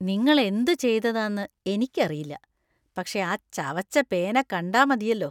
നിങ്ങൾ എന്തു ചെയ്തതതാന്ന്എനിക്കറിയില്ല, പക്ഷേ ആ ചവച്ച പേന കണ്ടാ മതിയല്ലോ.